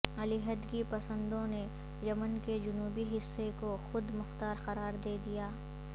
علیحدگی پسندوں نے یمن کے جنوبی حصے کو خود مختار قرار دے دیا